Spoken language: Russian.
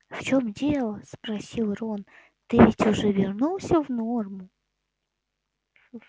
в чем дело спросил рон ты ведь уже вернулась в норму